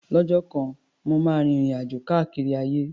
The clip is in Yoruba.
Lọ́jọ́ kan, mo máa rin ìrìn-àjò káàkiri ayé.